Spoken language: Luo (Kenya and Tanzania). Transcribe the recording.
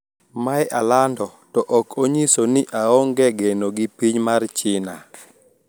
Mae alando to ok onyiso ni aonge geno gi piny Mar China